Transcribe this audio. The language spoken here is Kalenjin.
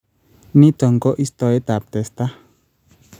Niito ko istoetap testa